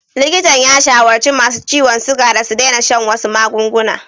Likitan ya shawarci masu ciwon suga da su daina shan wasu magunguna.